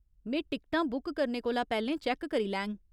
में टिकटां बुक करने कोला पैह्‌लें चैक्क करी लैङ।